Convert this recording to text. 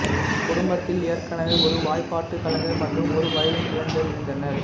குடும்பத்தில் ஏற்கனவே ஒரு வாய்ப்பாட்டு கலைஞர் மற்றும் ஒரு வயலின் கலைஞர் இருந்தனர்